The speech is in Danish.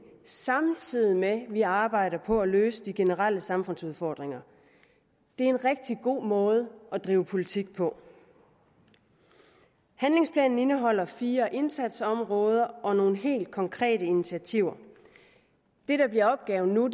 samtidig med at vi arbejder på at løse de generelle samfundsudfordringer det er en rigtig god måde at drive politik på handlingsplanen indeholder fire indsatsområder og nogle helt konkrete initiativer det der bliver opgaven nu